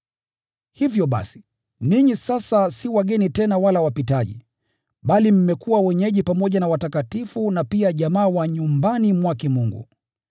Hivyo basi, ninyi sasa si wageni tena wala wapitaji, bali mmekuwa wenyeji pamoja na watakatifu na pia jamaa wa nyumbani mwake Mungu.